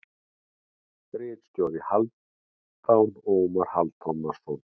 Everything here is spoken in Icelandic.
Ritstjóri: Hálfdan Ómar Hálfdanarson.